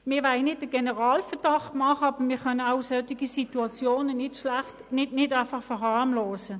Wir wollen keinen Generalverdacht bewirken, aber wir können solche Situationen nicht einfach verharmlosen.